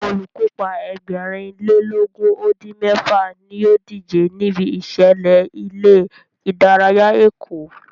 Olùkópa Ẹgbẹ̀rin lé lógún ó dín mẹ́fà ní ó díje níbi ìṣẹ̀lẹ̀ ilé ìdárayá Èkó